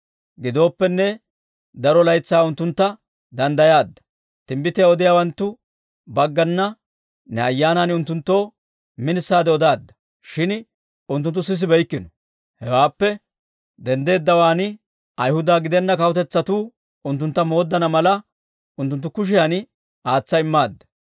Gidooppenne, daro laytsaa unttuntta danddayaadda; timbbitiyaa odiyaawanttu baggana ne Ayyaanan unttunttoo minisaade odaadda; shin unttunttu sisibeykkino. Hewaappe denddeeddawaan Ayhuda gidenna kawutetsatuu unttuntta mooddana mala, unttunttu kushiyan aatsa immaadda.